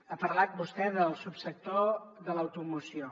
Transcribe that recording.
ha parlat vostè del subsector de l’automoció